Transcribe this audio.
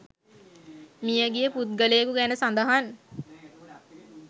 මිය ගිය පුද්ගලයෙකු ගැන සඳහන්